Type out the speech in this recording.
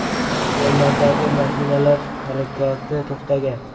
Yo‘llardagi mashinalar harakati to‘xtagan.